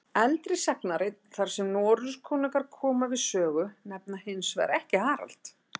Eldri sagnarit þar sem Noregskonungar koma við sögu nefna hins vegar ekki Harald.